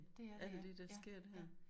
Det er det ja. Ja ja